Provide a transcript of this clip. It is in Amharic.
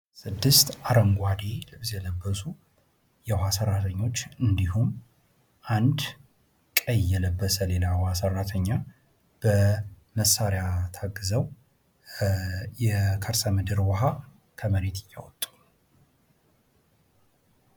ስድስት አረንጕዴ ልብስ የለበሱ የውሃ ሰራተኞች እንዲሁም አንድ ቀይ የለበሰ ሌላ የዉሃ ሰራተኛ በመሳሪያ ታግዘው የከርሰምድር ዉሃ ከመሬት እያወጡ ነው::